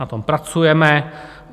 Na tom pracujeme.